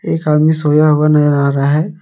एक आदमी सोया हुआ नजर आ रहा है।